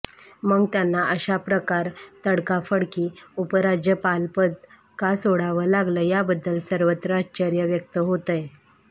मग त्यांना अशा प्रकार तडकाफडकी उपराज्यपालपद का सोडावं लागलं याबद्दल सर्वत्र आश्चर्य व्यक्त होतंय